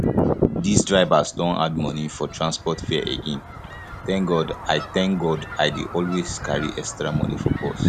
dis drivers don add money for transport fare again thank god i thank god i dey always carry extra money for purse